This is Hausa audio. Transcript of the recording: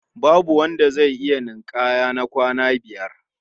Babu wanda zai iya ninƙaya na awa biyar.